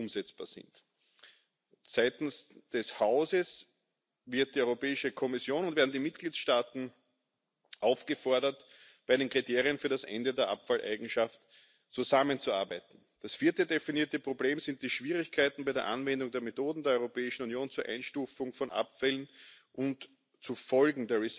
addressing the management of waste containing substances of concern. The Council encourages Member States to make use of all possibilities under the Ecodesign Directive or other product specific legislation to promote the circularity of products and to support voluntary methods and approaches regarding